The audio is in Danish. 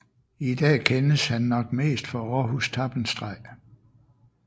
I dag kendes ham nok mest for Århus Tappenstreg